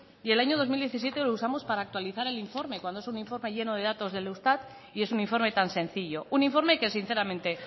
y el año dos mil diecisiete lo usamos para actualizar el informe cuando es un informe lleno de datos del eustat y es un informe tan sencillo un informe que sinceramente